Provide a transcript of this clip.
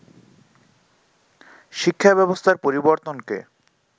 শিক্ষা ব্যবস্থার পরিবর্তনকে